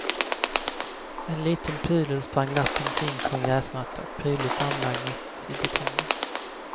En liten pudel sprang glatt omkring på en gräsmatta, prydligt anlagd mitt i betongen.